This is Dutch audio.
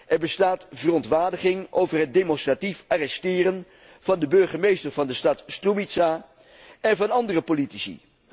Er bestaat verontwaardiging over het demonstratief arresteren van de burgemeester van de stad Strumitsa en van andere politici.